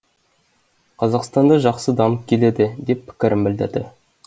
қазақстанда жақсы дамып келеді деп пікірін білдірді